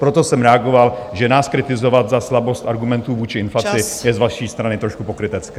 Proto jsem reagoval, že nás kritizovat za slabost argumentů vůči inflaci je z vaší strany trošku pokrytecké.